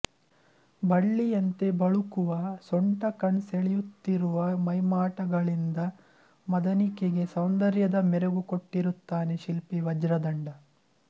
ಬಳ್ಳಿಯಂತೆ ಬಳುಕುವ ಸೊಂಟ ಕಣ್ಸೆಳಿಯುತ್ತಿರುವ ಮೈಮಾಟಗಳಿಂದ ಮದನಿಕೆಗೆ ಸೌಂದರ್ಯದ ಮೆರಗು ಕೊಟ್ಟಿರುತ್ತಾನೆ ಶಿಲ್ಪಿ ವಜ್ರದಂಡ